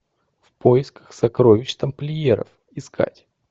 в поисках сокровищ тамплиеров искать